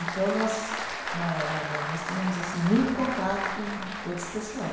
Então, nós na na né nós tínhamos assim muito contato com todo esse pessoal.